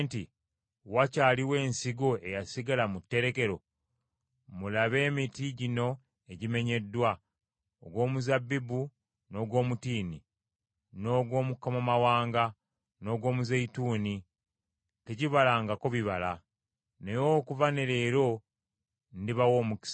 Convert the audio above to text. Wakyaliwo ensigo eyasigala mu tterekero? Mulabe, emiti gino egimenyeddwa, ogw’omuzabbibu n’ogw’omutiini, n’ogw’omukomamawanga, n’ogw’omuzeeyituuni tegibalangako bibala. “ ‘Naye okuva ne leero ndibawa omukisa.’ ”